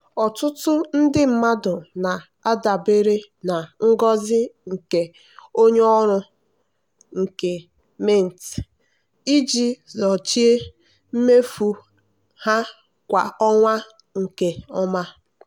ọtụtụ ndị mmadụ na-adabere na ngosi nke onye ọrụ nke mint iji sochie mmefu ha kwa ọnwa nke ọma.